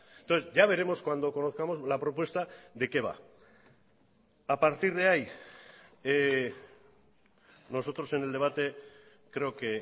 entonces ya veremos cuando conozcamos la propuesta de qué va a partir de ahí nosotros en el debate creo que